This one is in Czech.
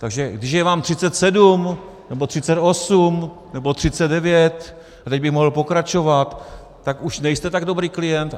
Takže když je vám 37 nebo 38 nebo 39, a teď bych mohl pokračovat, tak už nejste tak dobrý klient?